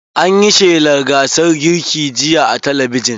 An yi shelan gasar girkin jiya a talabijin.